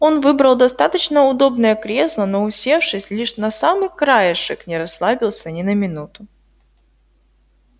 он выбрал достаточно удобное кресло но усевшись лишь на самый краешек не расслабился ни на минуту